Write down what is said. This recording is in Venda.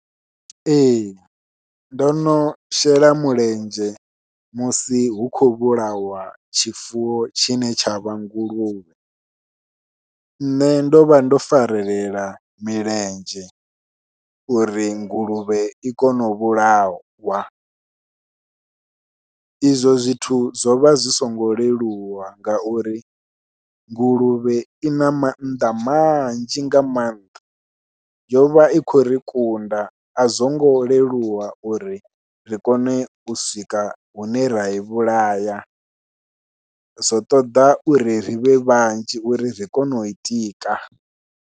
Ee ndo no shela mulenzhe musi hu khou vhulawa tshifuwo tshine tsha vha nguluvhe, nṋe ndo vha ndo farelela milenzhe uri nguluvhe i kone u vhulawa, izwo zwithu zwo vha zwi songo leluwa ngauri nguluvhe ina mannḓa manzhi nga maanḓa, yovha i khou ri kunda a zwongo leluwa uri ri kone u swika hune rai vhulaya zwo ṱoḓa uri rivhe vhanzhi uri ri kone u i tika.